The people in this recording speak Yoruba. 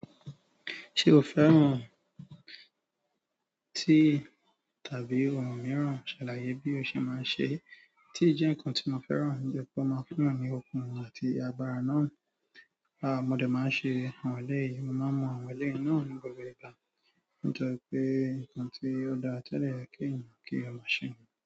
Ṣé o fẹ́ràn tií tàbí ohun mìíràn? Ṣàlàyé bí o ṣe máa ń ṣe é. Tií jẹ́ nǹkan tí mo fẹ́ràn ni pé ó máa ń fún mi ní okun mi àti agbára náà. Aà, mo dẹ̀ máa ń ṣe àwọn eleyìí, mo máa ń mọ àwọn eleyìí náà ní gbogbo ìgbà nítorí pé nǹkan tí ó dára ti ó dẹ́ yẹ̀ kí èèyàn kí ọmọ ṣe.